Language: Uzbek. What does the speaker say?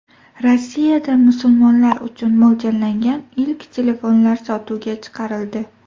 Rossiyada musulmonlar uchun mo‘ljallangan ilk telefonlar sotuvga chiqarildi.